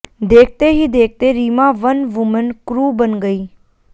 देखते ही देखते रीमा वन वुमन क्रू बन गईं